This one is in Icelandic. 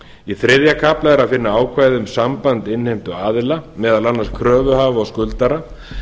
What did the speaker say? í þriðja kafla er að finna ákvæði um samband innheimtuaðila meðal annars kröfuhafa og skuldara